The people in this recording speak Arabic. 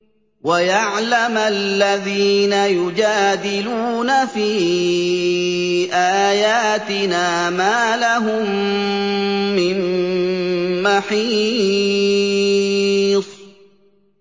وَيَعْلَمَ الَّذِينَ يُجَادِلُونَ فِي آيَاتِنَا مَا لَهُم مِّن مَّحِيصٍ